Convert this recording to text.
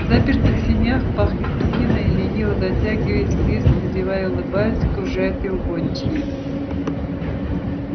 в запертых сенях пахнет псиной лениво дотягиваясь с визгом зевая и улыбаясь окружают его гончие